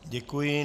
Děkuji.